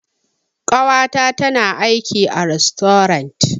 Ƙawata tana aiki a rastorant.